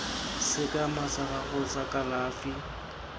sekema sa gago sa kalafi